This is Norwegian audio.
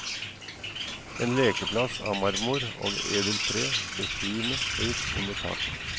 En lekeplass av marmor og edelt tre, befriende høyt under taket.